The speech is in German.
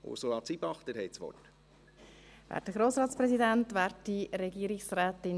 Ursula Zybach, Sie haben das Wort.